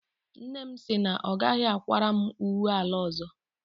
Nne m sị na ọ gaghị akwara m uwe ala ọzọ.